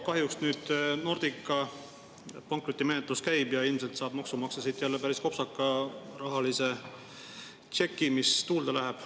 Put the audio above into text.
Kahjuks nüüd Nordica pankrotimenetlus käib ja ilmselt saab maksumaksja siit jälle päris kopsaka rahalise tšeki, mis tuulde läheb.